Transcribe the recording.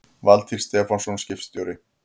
Valtýr Stefánsson ritstjóri